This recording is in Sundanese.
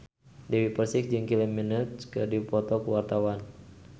Dewi Persik jeung Kylie Minogue keur dipoto ku wartawan